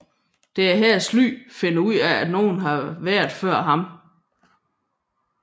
Det er her Sly finder ud af at nogen har været før ham